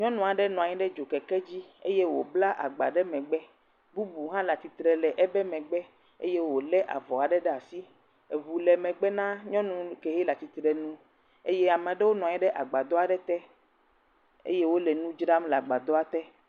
Nyɔnu aɖe nɔ anyi ɖe dzokeke dzi eye wobla agba ɖe megbe. Bubu hã le atsirtre le eƒe megbe eye wo le avɔ aɖe ɖe asi. Eŋu le megbe na nyɔnu ye le atsitre nu eye ame aɖewo nɔ anyi ɖe agbadɔ aɖe te eye wo le nu dzram le agadɔa te.